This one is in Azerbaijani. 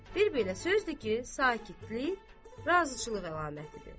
Bir belə söz de ki, sakitlik razıçılıq əlamətidir.